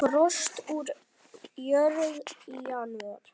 Frost úr jörð í janúar.